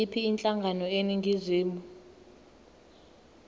yiyiphi inhlangano eningizimu